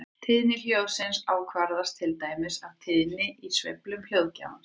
Tíðni hljóðsins ákvarðast til dæmis af tíðninni í sveiflum hljóðgjafans.